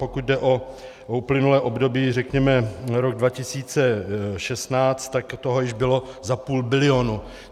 Pokud jde o uplynulé období, řekněme rok 2016, tak toho již bylo za půl bilionu.